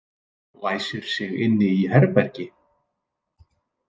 Læsir sig inni í herbergi.